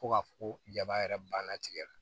Fo ka fɔ ko jaba yɛrɛ banna tigɛ